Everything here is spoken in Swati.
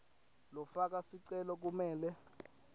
lofaka sicelo kumele